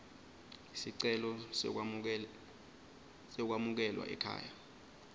sicelo sekwamukelwa ekhaya